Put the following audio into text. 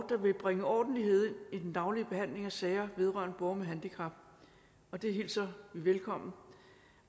der vil bringe ordentlighed ind i den daglige behandling af sager vedrørende borgere med handicap og det hilser vi velkommen